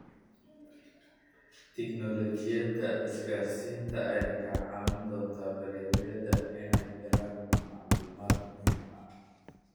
Tignoolajiyada isgaarsiinta ayaa ka caawin doonta beeralayda inay helaan macluumaad muhiim ah.